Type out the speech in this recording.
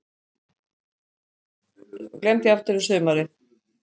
Stjána hafði loks tekist að læra Faðir-vorið í fyrra, en steingleymt því aftur um sumarið.